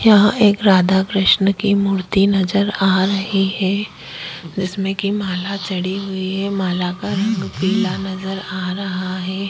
यहाँ एक राधा कृष्ण की मूर्ती नजर आ रही है जिसमे की माला चढ़ी हुई है माला का रंग पिला नजर आ रहा है।